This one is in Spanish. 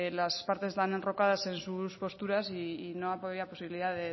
las partes estaban enrocadas en sus posturas y no había posibilidad